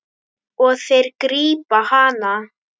Og þeir grípa hana.